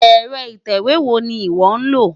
Ẹ̀rọ ìtẹ̀wé wo ni ìwọ́ lò?